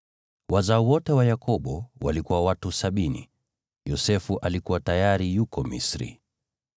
Wazao wote wa Yakobo walikuwa watu sabini; Yosefu alikuwa tayari yuko Misri.